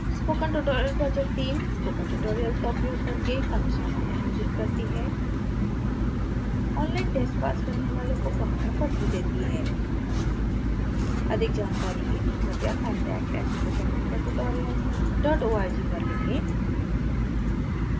spoken tutorial project teamspoken tutorial का उपयोग कर कार्यशालाएं आयोजित करती है ऑनलाइन टेस्ट पास करने वालों को प्रमाण पत्र देती है